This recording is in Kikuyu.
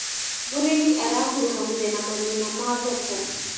Mũrĩmi arakuruhanire na mathina ma thoko.